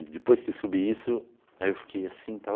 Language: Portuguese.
E depois que eu subi isso, aí eu fiquei assim e tal.